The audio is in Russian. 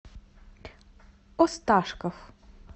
осташков